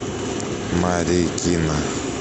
марикина